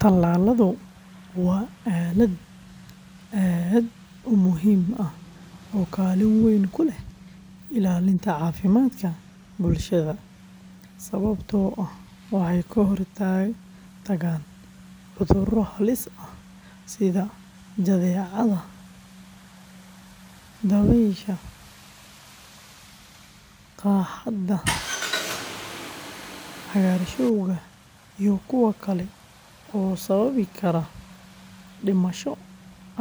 Tallaaladu waa aalad aad u muhiim ah oo kaalin weyn ku leh ilaalinta caafimaadka bulshada, sababtoo ah waxay ka hortagaan cudurro halis ah sida jadeecada, dabaysha, qaaxada, cagaarshowga iyo kuwo kale oo sababi kara dhimasho